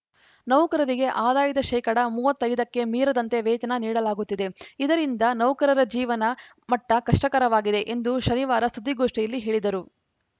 ನೌಕರರಿಗೆ ಆದಾಯದ ಶೇಕಡಾ ಮೂವತ್ತ್ ಐದ ಕ್ಕೆ ಮೀರದಂತೆ ವೇತನ ನೀಡಲಾಗುತ್ತಿದೆ ಇದರಿಂದ ನೌಕರರ ಜೀವನ ಮಟ್ಟಕಷ್ಟಕರವಾಗಿದೆ ಎಂದು ಶನಿವಾರ ಸುದ್ದಿಗೋಷ್ಠಿಯಲ್ಲಿ ಹೇಳಿದರು